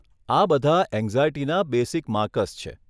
આ બધા એંગ્ઝાયટીના બેસિક માર્કર્સ છે.